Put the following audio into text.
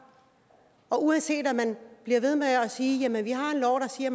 og uanset om man bliver ved med at sige at vi har en lov der siger at